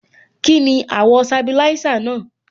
Kíni àwọ̀ sabilisa náà?